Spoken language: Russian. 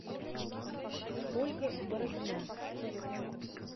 ольга бородина